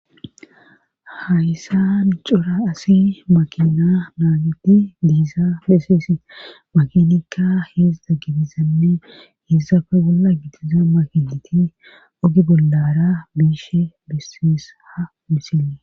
hayssan cora asi makina naagidi de7iza besees makinikka heedzdza gidizanne heessape bolla gidiza makinati oge bollara biishe besees ha misile